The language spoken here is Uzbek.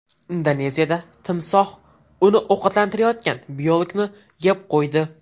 Indoneziyada timsoh uni ovqatlantirayotgan biologni yeb qo‘ydi.